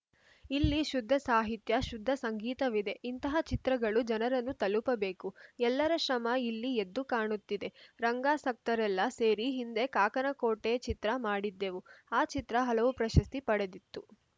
ಇಲ್ಲಿ ಶುದ್ಧ ಸಾಹಿತ್ಯ ಶುದ್ಧ ಸಂಗೀತವಿದೆ ಇಂತಹ ಚಿತ್ರಗಳು ಜನರನ್ನು ತಲುಪಬೇಕು ಎಲ್ಲರ ಶ್ರಮ ಇಲ್ಲಿ ಎದ್ದು ಕಾಣುತ್ತಿದೆ ರಂಗಾಸಕ್ತರೆಲ್ಲ ಸೇರಿ ಹಿಂದೆ ಕಾಕನ ಕೋಟೆ ಚಿತ್ರ ಮಾಡಿದ್ದೆವು ಆ ಚಿತ್ರ ಹಲವು ಪ್ರಶಸ್ತಿ ಪಡೆದಿತ್ತು